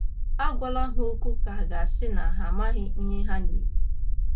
Agwala ha okwu ka à ga - asị na ha amaghị ihe ha na - eme.